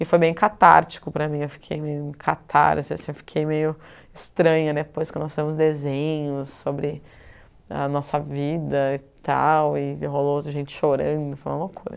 E foi meio catártico para mim, eu fiquei meio em catarse assim, fiquei meio estranha depois que nós fizemos desenhos sobre a nossa vida e tal, e rolou gente chorando, foi uma loucura.